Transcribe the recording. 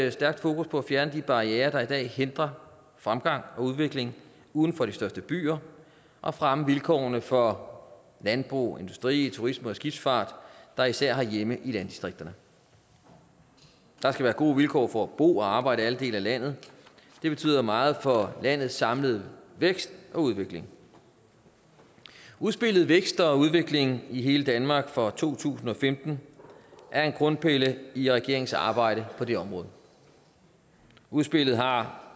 et stærkt fokus på at fjerne de barrierer der i dag hindrer fremgang og udvikling uden for de største byer og fremme vilkårene for landbrug industri turisme og skibsfart der især har hjemme i landdistrikterne der skal være gode vilkår for at bo og arbejde i alle dele af landet det betyder meget for landets samlede vækst og udvikling udspillet vækst og udvikling i hele danmark fra to tusind og femten er en grundpille i regeringens arbejde på det område udspillet har